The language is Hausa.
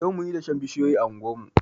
Yau munyi dashen bishiyoyi a anguwar mu.